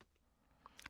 DR K